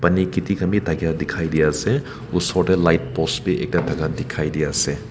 pani khiti khan bi thakia dikhai di ase osor te light post bi ekta thaka dikhai di ase.